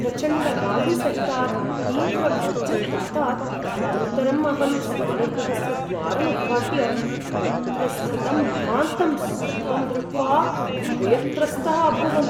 प्रचण्डवायुसहितात् तीव्रवज्रपातात् अनन्तरं अहं स्नानगृहस्य द्वारं उद्घाट्य तत्र स्थितं महान्तं सर्पं दृष्ट्वा भयत्रस्तः अभूवम्।